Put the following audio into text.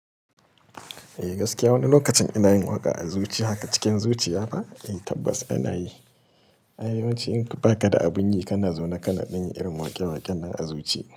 Eh gaskiya wani lokacin ina yin waƙa a zuci haka cikin zuciya ba? Eh tabbas ana yi. Ai ya wance in ka faka da abun yi kana zauna kana ɗanyi irin waƙe-waƙen nan a zuci.